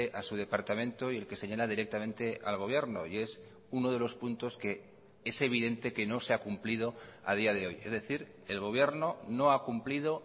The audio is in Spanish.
a su departamento y el que señala directamente al gobierno y es uno de los puntos que es evidente que no se ha cumplido a día de hoy es decir el gobierno no ha cumplido